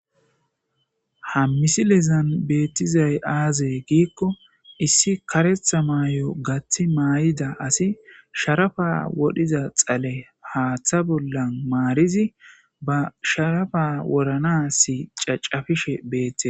Ha misilezan beetizay aaze giiko issi kareththa mayo gaththi mayida asi sharafa wodhiza xale haaththa bolla maarizi ba sharafa wodhanas caccafishe beetees.